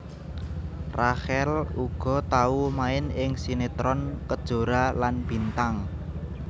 Rachel uga tau main ing sinetron Kejora lan Bintang